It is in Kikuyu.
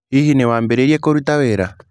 Hihi nĩ wambĩrĩirie kũruta wĩra?